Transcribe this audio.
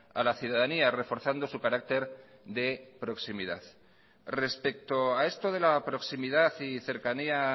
a la ciudadanía reforzando su carácter de proximidad respecto a esto de la proximidad y cercanía